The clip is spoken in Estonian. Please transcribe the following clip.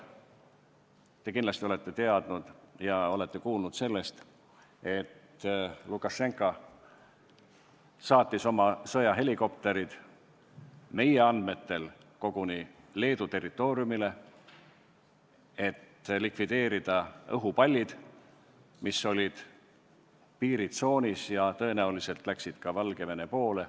Te kindlasti teate ja olete kuulnud, et Lukašenka saatis oma sõjahelikopterid meie andmetel koguni Leedu territooriumile, et likvideerida õhupallid, mis olid piiritsoonis ja tõenäoliselt jõudsid ka Valgevene poolele.